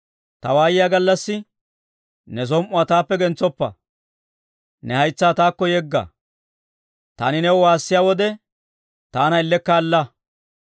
Ta waayiyaa gallassi, ne som"uwaa taappe gentsoppa. Ne haytsaa taakko yegga; taani new waassiyaa wode, taana ellekka alla.